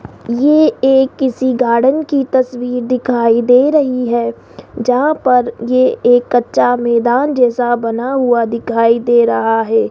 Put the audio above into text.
ये एक किसी गार्डन की तस्वीर दिखाई दे रही है जहां पर ये एक कच्चा मैदान जैसा बना हुआ दिखाई दे रहा है।